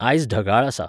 आयज ढगाळ आसा